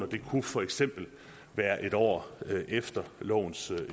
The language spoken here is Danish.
det kunne for eksempel være en år efter lovens